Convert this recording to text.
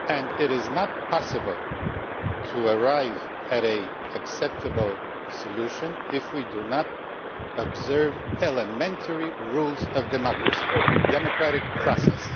It is not possible to arrive at an acceptable solution if we do not observe elementary rules of democracy and the democratic process.